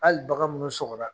Hali bagan minnu sɔgɔra